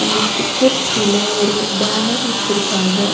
இந்த ஸ்டிக்கர்ஸ் கீழ ஒரு பேனர் வச்சுருக்காங்க.